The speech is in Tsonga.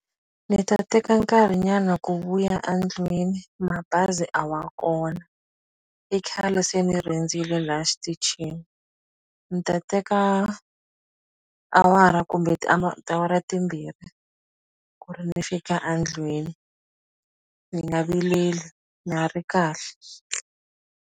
Ni ta teka nkarhinyana ku vuya a ndlwini mabazi a wa kona i khale se ni rindzile la xitichini ni ta teka awara kumbe tiawara timbirhi ku ri ni fika a ndlwini mi nga vileli na ha ri kahle.